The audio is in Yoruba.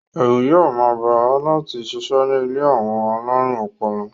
Ẹ̀rù yóò máa bà á láti sisẹ́ ní ilé àwọn alárùn ọpọlọ.